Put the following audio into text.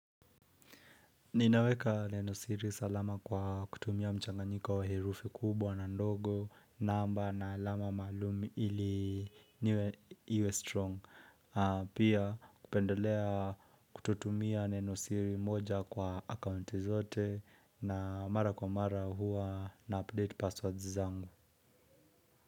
Ninaweka neno siri salama kwa kutumia mchanganyiko wa herufi kubwa na ndogo, namba na alama malum ili niwe iwe strong. Pia kupendelea kutotumia leno siri moja kwa akaunti zote. Na mara kwa mara huwa na update passwords zangu.